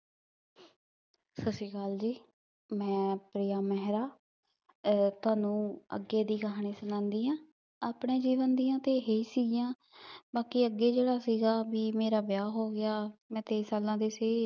ਸਾਸਰੀਕਾਲ ਜੀ ਮੈਂ ਪ੍ਰਿਯ ਮੇਹਰਾ ਤੁਹਾਨੂ ਅਗੇ ਦੀ ਕਹਾਨੀ ਸੁਣਾਂਦੀ ਆਂ ਅਪਨੇ ਜੀਵਨ ਦੀਆ ਤਾਂ ਇਹ ਸਿਗਿਯਾਂ ਬਾਕ਼ੀ ਅਗੇ ਜੇਰਾ ਸੀਗਾ ਮੇਰਾ ਵਿਯਾਹ ਹੋਗਯਾ ਮੈਂ ਤਯੀ ਸਾਲਾਂ ਦੀ ਸੀ